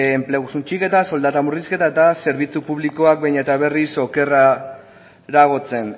enplegu suntsiketa soldata murrizketa eta zerbitzu publikoak behin eta berriz okerreragoratzen